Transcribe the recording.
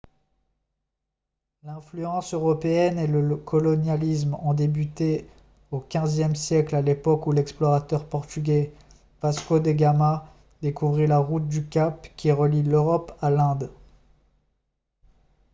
l'influence européenne et le colonialisme ont débuté au xve siècle à l'époque où l'explorateur portugais vasco de gama découvrit la route du cap qui relie l'europe à l'inde